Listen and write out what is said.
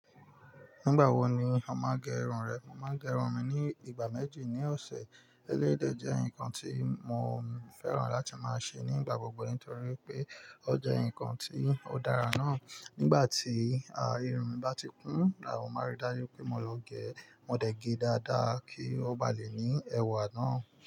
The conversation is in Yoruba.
Nígbà wo ni o máa n gẹ irun rẹ? Mo máa gẹ irun mi ní ìgbà méjì ní ọ̀sẹ̀. Éléyi dẹ jẹ́ nǹkan tí mo fẹ́ràn láti máa ṣe nígbà gbogbo nítorí pé ó jẹ́ nǹkan tí ó dára náà. Nígbà tí, àá, irun bá ti kún, àwọn máa rí dájú pé mo lọ gẹ. Mo dẹ̀ ge dáadáa kí ó ba lè ní ẹwà náà.